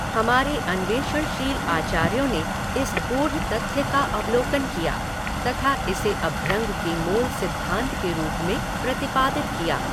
हमारे अन्वेषणशील आचार्यों ने इस गूढ़ तथ्य का अवलोकन किया तथा इसे अभ्यंग के मूल सिद्धांत के रूप में प्रतिपादित किया।